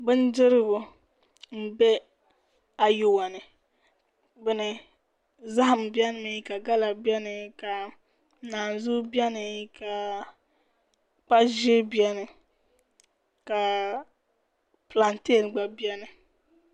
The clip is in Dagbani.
Bindirigu n bɛ ayuwa ni zaham bɛni mi ka gala bɛni ka naan zuu bɛni ka kpa ʒiɛ bɛni ka pilanteen gba bɛni